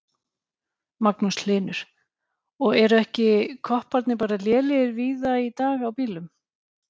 Magnús Hlynur: Og eru ekki kopparnir bara lélegir víða í dag á bílum?